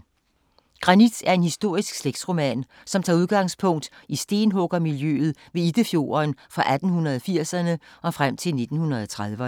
Granit er en historisk slægtsroman, som tager udgangspunkt i stenhuggermiljøet ved Iddefjorden fra 1880'erne og frem til 1930'erne.